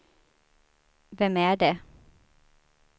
vem är det